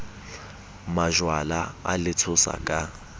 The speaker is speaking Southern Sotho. majwala a le tshosa ka